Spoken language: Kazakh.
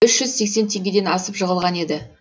үш жүз сесксен теңгеден асып жығылған еді